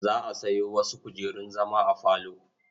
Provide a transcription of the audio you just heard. Za a sayo wasu kujerun zama a falo.